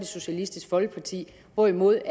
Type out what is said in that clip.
socialistisk folkeparti hvorimod